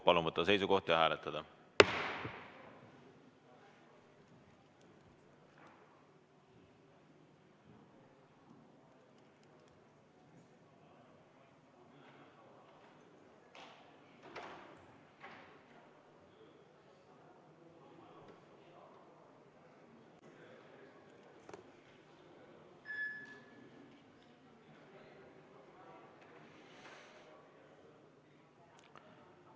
Palun võtta seisukoht ja hääletada!